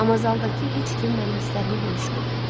Amma zaldakı heç kim mənim hisslərimi bölüşmürdü.